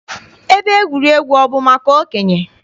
Ebe egwuregwu bụ maka okenye?